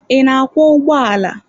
Ị na-akwọ ụgbọala?